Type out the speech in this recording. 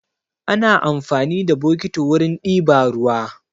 Ana amfani da bokiti wurin ɗiba ruwa.